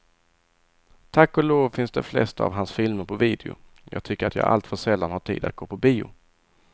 Tack och lov finns de flesta av hans filmer på video, jag tycker att jag alltför sällan har tid att gå på bio.